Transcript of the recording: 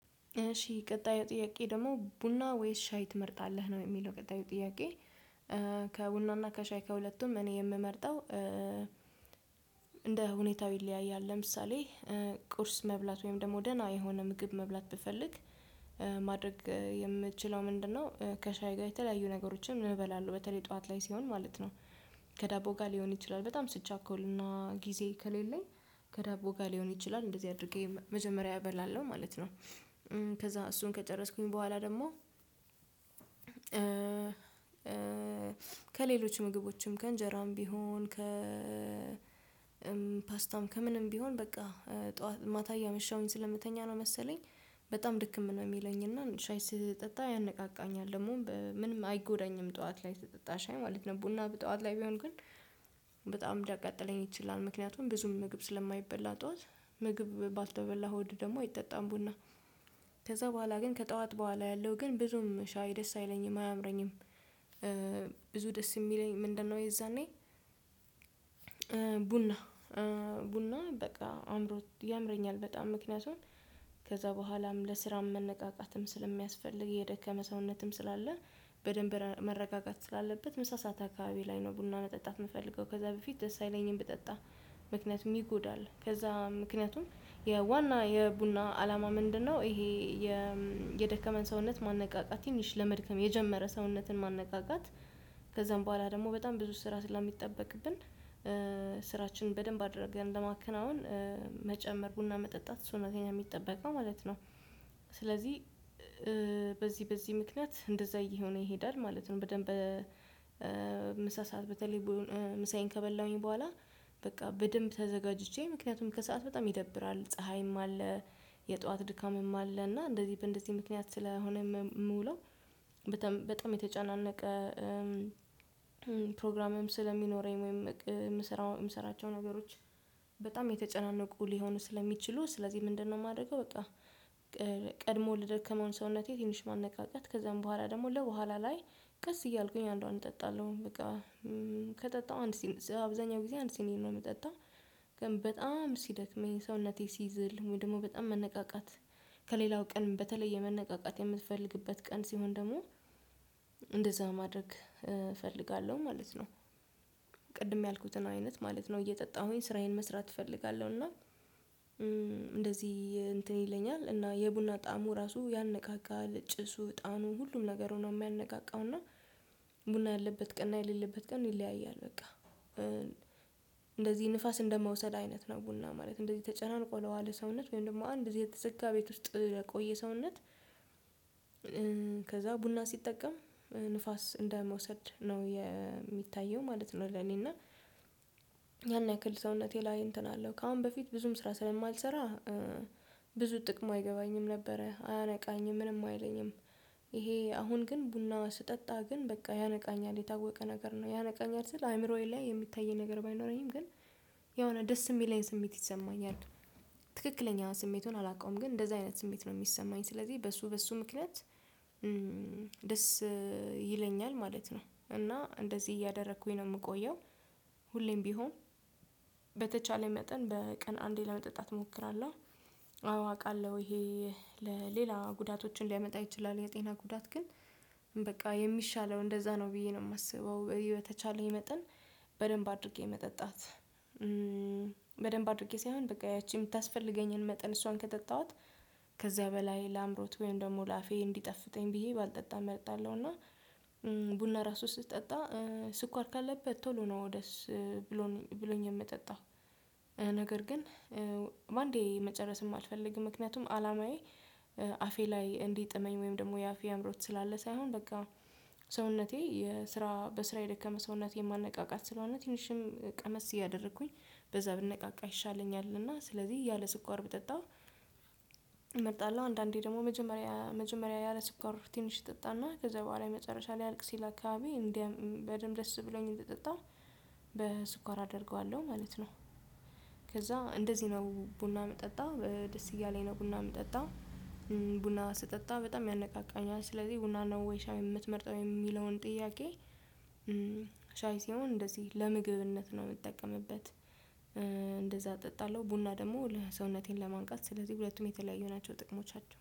እሺ ቀጣዩ ጥያቄ ደግሞ ቡና ወይስ ሻይ ትመርጣለህ ነው የሚለው ቀጣዩ ጥያቄ ከቡናና ከሻይ ከሁለቱም እኔ የምመርጠው እንደ ሁኔታው ይለያያል ለምሳሌ ቁርስ መብላት ወይም ደግሞ ደህና የሆነ ምግብ መብላት ብፈልግ ማድረግ የምትችለው ምንድነው ከሻይ ጋር የተለያዩ ነገሮችን እበላለሁ በተለይ ጠዋት ላይ ሲሆን ማለት ነው። ከዳቦ ጋር ሊሆን ይችላል በጣም ስትቻኮልና ጊዜ ከሌለኝ ከዳቦ ጋር ሊሆን ይችላል እንደዚህ አድርጌ መጀመሪያ እበላለሁ ማለት ነው። ከዛ እሱን ከጨረስኩኝ በኋላ ደግሞ ከሌሎች ምግቦችም ከእንጀራም ቢሆን ከ ፓስታም ከምንም ቢሆን በቃ ጠዋት ማታ እያመሸሁኝ ስለምተኛ ነው መሰለኝ በጣም ድክም ነው የሚለኝ እና ሻይ ስጠጣ ያነቃቃኛል ደግሞ ምንም አይጎዳኝም ጠዋት ላይ ተጠጣሽ ማለት ነው ቡና በጠዋት ላይ ቢሆን ግን በጣም ሊያቃጥለኝ ይችላል ምክንያቱም ብዙም ምግብ ስለማይበላ ጠዋት ምግብ ባልተበላ ሆድ ደግሞ አይጠጣም ቡና ከዛ በኋላ ግን ከጠዋት በኋላ ያለው ግን ብዙም ሻይ ደስ አይለኝም አያምረኝም ብዙ ደስ የሚለኝ ምንድነው የዛኔ ቡና ቡና በቃ አምሮት ያምረኛል በጣም ምክንያቱን ከዛ በኋላም ለስራም መነቃቃትም ስለሚያስፈልግ የደከመ ሰውነትም ስላለ በደንብ መረጋጋት ስላለበት ምሳ ሰዓት አካባቢ ላይ ነው ቡና መጠጣት የምፈልገው ከዛ በፊት ደስ አይለኝም ብጠጣ ምክንያቱም ይጎዳል ከዛ ምክንያቱም የዋና የቡና አላማ ምንድነው ይሄ የ የደከመን ሰውነት ማነቃቃት ትንሽ ለመድከም የጀመረ ሰውነትን ማነቃቃት ከዛም በኋላ ደግሞ በጣም ብዙ ስራ ስለሚጠበቅብን ስራችንን በደንብ አድርገን ለማከናወን መጨመር ቡና መጠጣት እሱ ነው ከኛ የሚጠበቀው ማለት ነው። ስለዚህ በዚህ በዚህ ምክንያት እንደዛ እየሆነ ይሄዳል ማለት ነው በደንብ ምሳ ሰዓት በተለይ ምሳዬን ከበላሁኝ በኋላ በቃ በደንብ ተዘጋጅቼ ምክንያቱም ከሰአት በጣም ይደብራል ፀሀይም አለ የጧት ድካምም አለ እና እንደዚህ በእንደዚህ ምክንያት ስለሆነ የምውለው በጣም በጣም የተጨናነቀ ፕሮግራምም ስለሚኖረኝ ወይም የምሰራው የምሰራቸው ነገሮች በጣም የተጨናነቁ ሊሆኑ ስለሚችሉ ስለዚህ ምንድነው የማደርገው በቃ ቀድሞ ለደከመውን ሰውነቴ ትንሽ ማነቃቃት ከዛም በኋላ ደግሞ ለኋላ ላይ ቀስ እያልኩኝ አንዷን እጠጣለሁ በቃ ከጠጣሁ አንድ ሲኒስ አብዛኛው ጊዜ አንድ ሲኒስ ነው የምጠጣ ግን በጣም ሲደክመኝ ሰውነቴ ሲዝል ደግሞ በጣም መነቃቃት ከሌላው ቀን በተለይ የመነቃቃት የምትፈልግበት ቀን ሲሆን ደግሞ እንደዛ ማድረግ እፈልጋለሁ ማለት ነው። ቅድም ያልኩትን አይነት ማለት ነው እየጠጣሁኝ ስራዬን መስራት እፈልጋለሁ እና እንደዚህ እንትን ይለኛል እና የቡና ጣሙ ራሱ ያነቃቃል ጭሱ እጣኑ ሁሉም ነገር ሆኖ የሚያነቃቃው እና ቡና ያለበት ቀን የሌለበት ቀን ይለያያል በቃ እንደዚህ ንፋስ እንደመውሰድ አይነት ነው ቡና ማለት እንደዚህ ተጨናንቆ ለዋለ ሰውነት ወይም ደግሞ አንድ እዚህ የተዘጋ ቤት ውስጥ ለቆየ ሰውነት ከዛ ቡና ሲጠቀም ንፋስ እንደመውሰድ ነው የሚታየው ማለት ነው ለኔ እና ያን ያክል ሰውነቴ ላይ እንትን አለው ከአሁን በፊት ብዙም ስራ ስለማልሰራ ብዙ ጥቅሙ አይገባኝም ነበረ አያነቃኝም ምንም አይለኝም ይሄ አሁን ግን ቡና ስጠጣ ግን በቃ ያነቃኛል የታወቀ ነገር ነው ያነቃኛል ስል አይምሮዬ ላይ የሚታየኝ ነገር ባይኖረኝም ግን የሆነ ደስ የሚለኝ ስሜት ይሰማኛል። ትክክለኛ ስሜቱን አላውቀውም ግን እንደዛ አይነት ስሜት ነው የሚሰማኝ ስለዚህ በሱ በሱ ምክንያት ደስ ይለኛል ማለት ነው እና እንደዚህ እያደረኩኝ ነው የምቆየው ሁሌም ቢሆን በተቻለ መጠን በቀን አንዴ ለመጠጣት እሞክራለሁ አዎ አውቃለሁ ይሄ ለሌላ ጉዳቶችን ሊያመጣ ይችላል የጤና ጉዳት ግን በቃ የሚሻለው እንደዛ ነው ብዬ ነው የማስበው በተቻለኝ መጠን በደንብ አድርጌ መጠጣት በደንብ አድርጌ ሳይሆን በቃ ያቺ የምታስፈልገኝን መጠን እሷን ከጠጣኋት ከዛ በላይ ለአምሮት ወይም ደግሞ ላፌ እንዲጠፍተኝ ብዬ ባልጠጣም እመጣለሁ እና ቡና ራሱ ስትጠጣ ስኳር ካለበት ቶሎ ነው ደስ ብሎን ብሎኝ የምጠጣው ነገር ግን በአንዴ መጨረስም አልፈልግም ምክንያቱም አላማዬ አፌ ላይ እንዲጥመኝ ወይም ደግሞ የአፌ አምሮት ስላለ ሳይሆን በቃ ሰውነቴ የስራ በስራ የደከመ ሰውነቴ ማነቃቃት ስለሆነ ትንሽም ቀመስ እያደረኩኝ በዛ ብነቃቃ ይሻለኛል እና ስለዚህ ያለ ስኳር ብጠጣ እመርጣለሁ አንዳንዴ ደግሞ መጀመሪያ መጀመሪያ ያለ ስፖርት ትንሽ ይጠጣና ከዛ በኋላ መጨረሻ ላይ አልቅ ሲል አካባቢ እንደ በደንብ ደስ ብሎኝ ይጠጣል በስኳር አደርገዋለሁ ማለት ነው ከዛ እንደዚህ ነው ቡና የምጠጣ ደስ እያለኝ ነው ቡና የምጠጣ ቡና ስጠጣ በጣም ያነቃቃኛል ስለዚህ ቡና ነው ወይሻ የምትመርጠው የሚለውን ጥያቄ ሻይ ሲሆን እንደዚህ ለምግብነት ነው የምጠቀምበት እንደዛ እጠጣለሁ ቡና ደግሞ ለሰውነቴን ለማንቃት ስለዚህ ሁለቱም የተለያዩ ናቸው ጥቅሞቻቸው